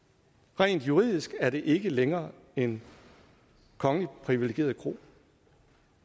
rent juridisk er det ikke længere en kongeligt privilegeret kro